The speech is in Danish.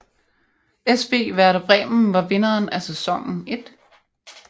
SV Werder Bremen var vinderen af sæsonen 1